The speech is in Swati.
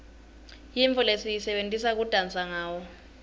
yintfo lesiyisebentisa kudansa ngawo